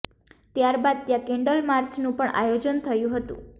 ત્યાર બાદ ત્યાં કેન્ડલ માર્ચનું પણ આયોજન થયું હતું